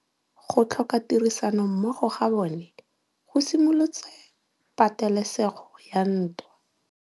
Go tlhoka tirsanommogo ga bone go simolotse patêlêsêgô ya ntwa.